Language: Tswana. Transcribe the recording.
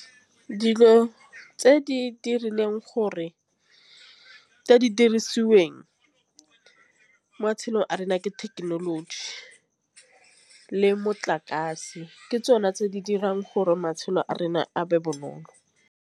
Dilo tse di dirileng gore tse di dirisiweng mo matšhelong a rena ke thekenoloji le motlakase ke tsona tse di dirang gore matšhelo a rena a be bonolo.